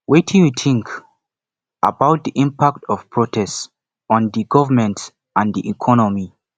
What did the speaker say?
wetin you think about di impact of protest on di government and di economy